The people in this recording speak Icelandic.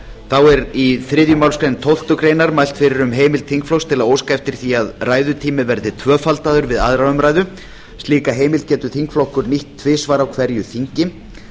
þá er í þriðju málsgrein tólftu greinar mælt fyrir um heimild þingflokks til að óska eftir því að ræðutími verði tvöfaldaður við aðra umræðu slíka heimild getur þingflokkur nýtt tvisvar á hverju þingi